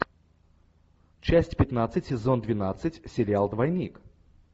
часть пятнадцать сезон двенадцать сериал двойник